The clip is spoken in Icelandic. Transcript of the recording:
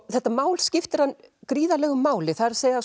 þetta mál skiptir hann gríðarlegu máli það er